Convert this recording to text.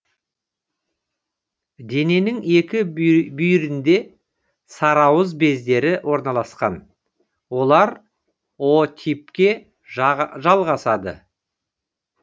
дененің екі бүйірінде сарыауыз бездері орналасқан олар о типке жалғасады